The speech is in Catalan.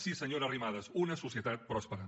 sí senyora arrimadas una societat pròspera